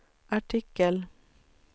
artikel